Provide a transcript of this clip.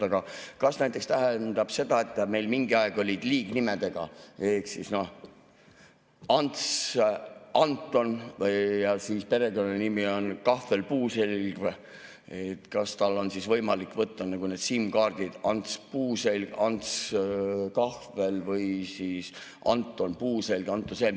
Aga kas see näiteks tähendab seda, et kui meil mingi aeg olid liignimed ehk Ants Anton ja siis oli perekonnanimi Kahvel Puuselg, et kas siis on võimalik võtta need SIM‑kaardid Ants Puuselg, Ants Kahvel või siis Anton Puuselg?